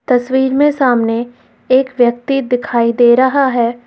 तस्वीर में सामने एक व्यक्ति दिखाई दे रहा है।